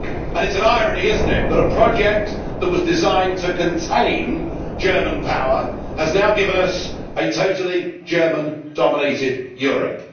It is an irony, is it not, that a project that was designed to contain German power has now given us a totally German dominated Europe.